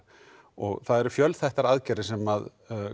og það eru fjölþættar aðgerðir sem